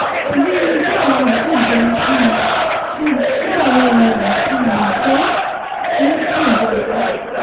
èyí ni bí àwọn agbébọn um ṣe jí àwọn èèyàn um gbé ńìsìnbọdẹ